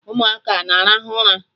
Ụmụaka a na-arahụ ụra?